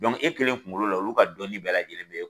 e kelen kunkolo la olu ka dɔnni bɛɛ lajɛlen bɛ